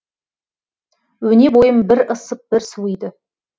өне бойым бір ысып бір суиды